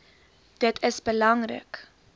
dit is belangrik